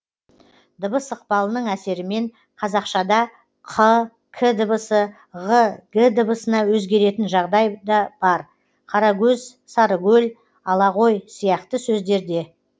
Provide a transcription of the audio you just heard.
дыбыс ықпалының әсерімен қазақшада қ к дыбысы ғ г дыбысына өзгеретін жағдай да бар қарагөз сарыгөл ала ғой сияқты сөздерде